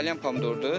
Salyan pomidordur.